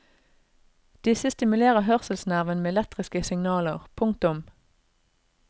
Disse stimulerer hørselsnerven med elektriske signaler. punktum